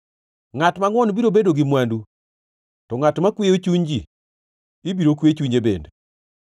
Ngʼat mangʼwon biro bedo gi mwandu; to ngʼat makweyo chuny ji ibiro kwe chunye bende.